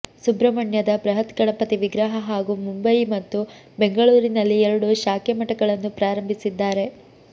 ಸುಬ್ರಹಣ್ಯದ ಬೃಹತ್ ಗಣಪತಿ ವಿಗ್ರಹ ಹಾಗೂ ಮುಂಬಯಿ ಮತ್ತು ಬೆಂಗಳೂರಿನಲ್ಲಿ ಎರಡು ಶಾಖೇಮಠಗಳನ್ನು ಪ್ರಾರಂಬಿಸಿದ್ದಾರೆ